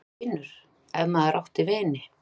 . vinur, ef maður átti vini.